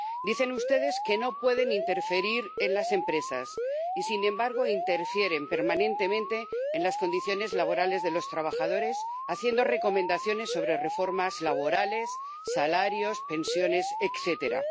Dicen ustedes que no pueden interferir en las empresas y, sin embargo, interfieren permanentemente en las condiciones laborales de los trabajadores haciendo recomendaciones sobre reformas laborales, salarios, pensiones, etcétera.